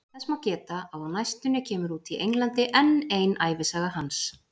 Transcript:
Þess má geta að á næstunni kemur út í Englandi enn ein ævisaga hans.